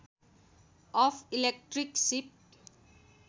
of electric सिप